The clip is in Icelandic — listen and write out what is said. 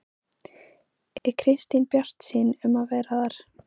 Er Kristín bjartsýn um að vera þar?